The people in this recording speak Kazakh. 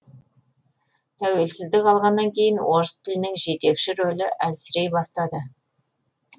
тәуелсіздік алғаннан кейін орыс тілінің жетекші рөлі әлсірей бастады